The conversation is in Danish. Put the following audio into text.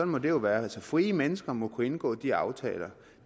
må det jo være altså frie mennesker må kunne indgå de aftaler